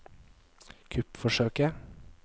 kuppforsøket